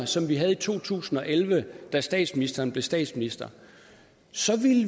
som vi havde i to tusind og elleve da statsministeren blev statsminister så